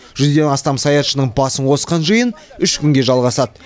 жүзден астам саятшының басын қосқан жиын үш күнге жалғасады